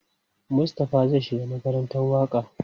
Mustapha zai shiga makarantar waƙa.